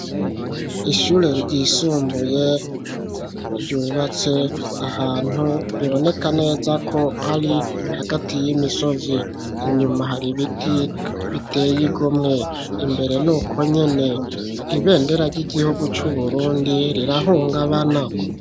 Ishure ryisumbuye, ryubatse ahantu, biboneka neza ko, ari hagati y'imisozi; inyuma, hari ibiti biteye igomwe, imbere ni uko nyene; ibendera ry'igihugu c'Uburundi, rirahungabana.